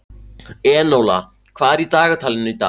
Enóla, hvað er í dagatalinu í dag?